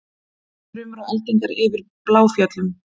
Þrumur og eldingar yfir Bláfjöllum